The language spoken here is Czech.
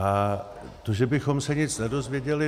A to, že bychom se nic nedozvěděli.